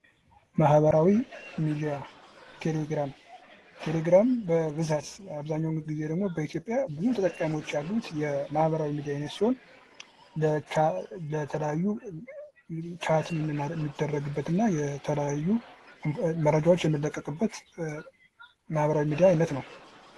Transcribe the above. ማህበራዊ ሚዲያ ቴሌግራም። ቴሌግራም በብዛት በአብዛኛውን ጊዜ ደግሞ በኢትዮጵያ ብዙ ተጠቃሚዎች ያሉት የማህበራዊ ሚዲያ አይነት ሲሆን ለተለያዩ ቻት የሚደረግበትና የተለያዩ መረጃዎች የሚለቀቅበት የማህበራዊ ሚዲያ አይነት ነው።